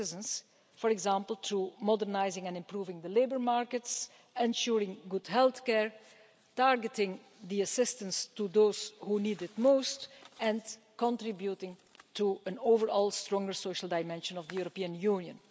our citizen for example, in modernising and improving the labour markets, ensuring good healthcare, targeting the assistance to those who need it most, and contributing to an overall stronger social dimension of the European Union.